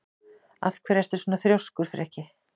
Af hverju ertu svona þrjóskur, Frikki?